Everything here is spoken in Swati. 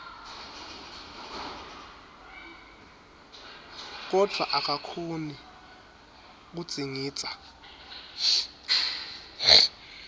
kodvwa akakhoni kudzingidza